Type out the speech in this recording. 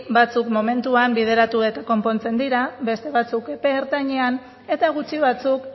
batzuk momentuan bideratu eta konpontzen dira beste batzuk epe ertainean eta gutxi batzuk